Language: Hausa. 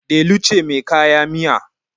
Delu cemai kaya miya